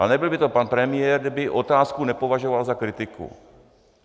Ale nebyl by to pan premiér, kdyby otázku nepovažoval za kritiku.